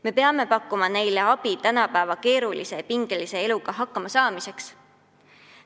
Me peame pakkuma abi tänapäeva keerulise ja pingelise eluga hakkama saamiseks.